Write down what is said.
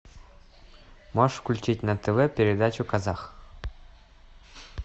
можешь включить на тв передачу казах